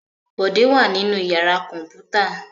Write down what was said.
Bọ̀dé wà nínú ìyàrá kọ̀ǹpútà.